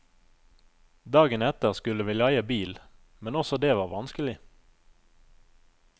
Dagen etter skulle vi leie bil, men også det var vanskelig.